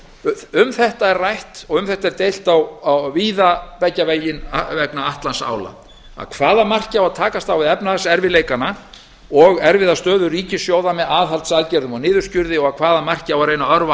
ræður um þetta er rætt og um þetta er deilt víða beggja vegna atlantsála að hvaða marki á að takast á við efnahagserfiðleikana og erfiða stöðu ríkissjóða með aðhaldsaðgerðum og niðurskurði og að hvaða marki á að reyna að örva